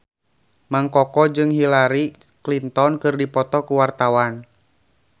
Mang Koko jeung Hillary Clinton keur dipoto ku wartawan